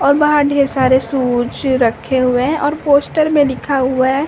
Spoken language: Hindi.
और बहार ढेर सारे शूज रक्खे हुए है और पोस्टर में लिखा हुआ है --